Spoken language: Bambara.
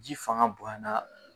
Ji fanga bonyana